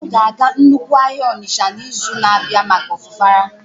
Nne m ga-aga nnukwu ahịa Onitsha n'izu na-abịa maka Afufara